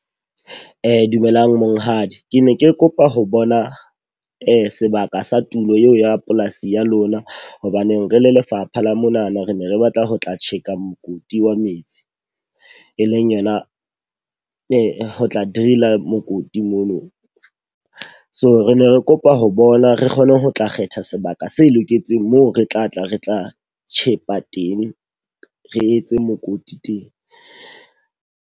Dumelang monghadi, ke ne ke kopa ho bona sebaka sa tulo eo ya polasi ya lona. Hobaneng re le lefapha la monana re ne re batla ho tlo tjheka mokoti wa metsi. E leng yona e ho tla drill-a mokoti mono. So re ne re kopa ho bona re kgone ho tla kgetha sebaka se loketseng moo re tla tla re tla tjhepa teng, re etse mokoti teng.